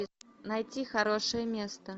найти хорошее место